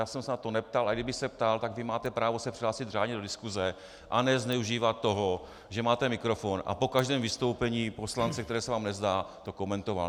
Já jsem se na to neptal, a kdybych se ptal, tak vy máte právo se přihlásit řádně do diskuse a ne zneužívat toho, že máte mikrofon, a po každém vystoupení poslance, které se vám nezdá, to komentoval.